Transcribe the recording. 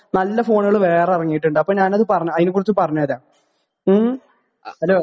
നല്ല ഫോണുകൾ വേറെ ഇറങ്ങിയിട്ടുണ്ട്. അപ്പോൾ ഞാൻ അത്, അതിനെക്കുറിച്ച് പറഞ്ഞുതരാം. ഉം? ഹലോ